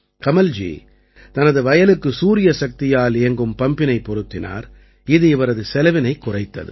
கமல்ஜி தனது வயலுக்கு சூரியசக்தியால் இயங்கும் பம்பினைப் பொருத்தினார் இது இவரது செலவினைக் குறைத்தது